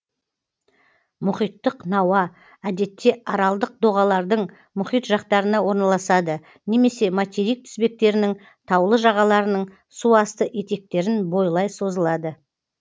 мұхиттық науа әдетте аралдық доғалардың мұхит жақтарында орналасады немесе материк тізбектерінің таулы жағаларының су асты етектерін бойлай созылады